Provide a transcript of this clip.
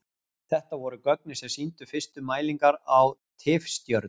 þetta voru gögnin sem sýndu fyrstu mælingar á tifstjörnum